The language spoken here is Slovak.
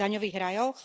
daňových rajoch.